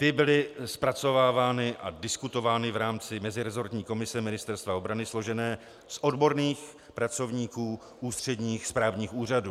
Ty byly zpracovávány a diskutovány v rámci meziresortní komise Ministerstva obrany složené z odborných pracovníků ústředních správních úřadů.